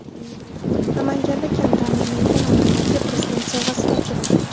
Namanganda kam ta’minlangan oilalarga Prezident sovg‘asi topshirildi .